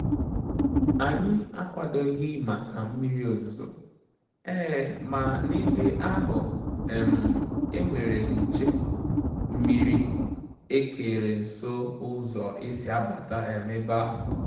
Ànyị́ ákwàdòghị́ màkà mmírí òzùzò, um mà n’ébè áhụ́ um é nwéré nché-mmírí ékéré nsó ụ́zọ́ ésí àbàtà um ébè áhụ̀.